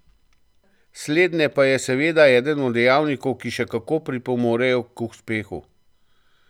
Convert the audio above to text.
Slednje pa je seveda eden od dejavnikov, ki še kako pripomorejo uspehu.